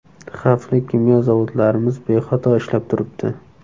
Xavfli kimyo zavodlarimiz bexato ishlab turibdi.